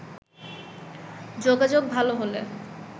যোগাযোগ ভালো হলে